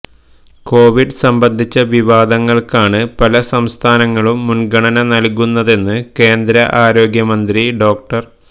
Covid സംബന്ധിച്ച വിവാദങ്ങള്ക്കാണ് പല സംസ്ഥാനങ്ങളും മുന്ഗണന നല്കുന്നതെന്ന് കേന്ദ്ര ആരോഗ്യ മന്ത്രി ഡോ